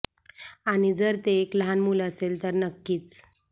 आणि जर ते एक लहान मूल असेल तर नक्कीच